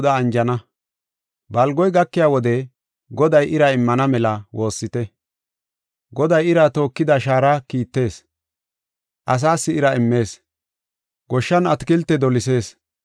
Balgoy gakiya wode Goday ira immana mela woossite. Goday ira tookida shaara kiittees; asaas ira immees; goshshan atakilte dolisis.